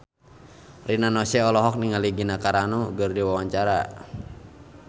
Rina Nose olohok ningali Gina Carano keur diwawancara